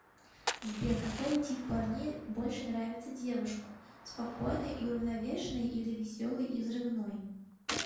сбер какой тип парней больше нравится девушкам спокойный и уравновешенный или веселый и взрывной